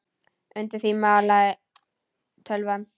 Undir því malaði tölvan.